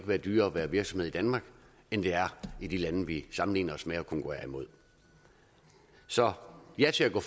være dyrere at være virksomhed danmark end det er i de lande vi sammenligner os med og konkurrerer imod så ja til at gå